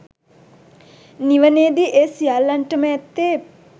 නිවනේදී ඒ සියල්ලන්ටම ඇත්තේ